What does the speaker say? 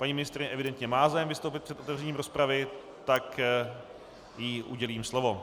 Paní ministryně evidentně má zájem vystoupit před otevřením rozpravy, tak jí udělím slovo.